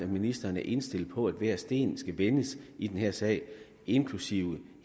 ministeren er indstillet på at hver sten skal vendes i den her sag inklusive